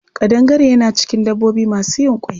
Ƙadangare yana cikin dabbobi masu yin ƙwai.